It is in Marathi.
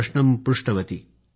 प्रश्नं पृष्टवती